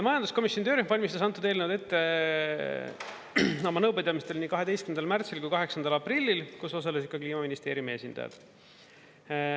Majanduskomisjoni töörühm valmistas antud eelnõu ette oma nõupidamistel nii 12. märtsil kui 8. aprillil, kus osalesid ka Kliimaministeeriumi esindajad.